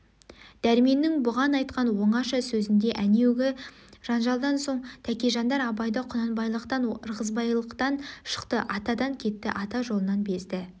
дәрменнің бұған айтқан оңаша сөзінде әнеугі жанжалдан соң тәкежандар абайды құнанбайлықтан ырғызбайлықтан шықты атадан кетті ата жолынан безді